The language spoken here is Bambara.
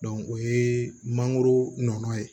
o ye mangoro nɔnɔ ye